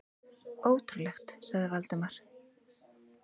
Ótrúlegt sagði Valdimar.